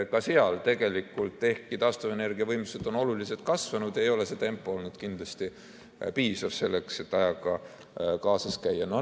Ka seal, ehkki taastuvenergia võimsused on oluliselt kasvanud, ei ole see tempo olnud kindlasti piisav selleks, et ajaga kaasas käia.